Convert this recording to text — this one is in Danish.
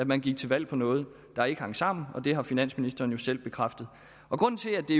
man gik til valg på noget der ikke hang sammen og det har finansministeren jo selv bekræftet grunden til at det